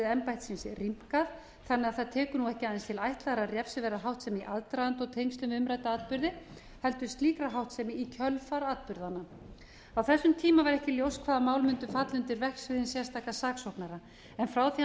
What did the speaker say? embættisins rýmkað þannig að það tekur nú ekki aðeins til ætlaðrar refsiverðrar háttsemi í aðdraganda og tengslum við umrædda atburði heldur slíkrar háttsemi í kjölfar atburðanna á þessum tíma var ekki ljóst hvaða mál mundu falla undir verksvið hins sérstaka saksóknara en frá því að hann